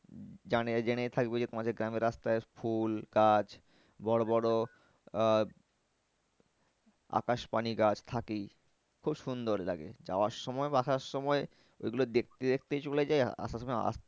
জানে জেনেই থাকবে যে তোমাদের গ্রামের রাস্তায় ফুল গাছ বড়ো বড়ো আহ আকাশপানি গাছ থাকেই। খুব সুন্দর লাগে যাওয়ার সময় বা আসার সময় ওইগুলো দেখতে দেখতেই চলে যায় আসার সময়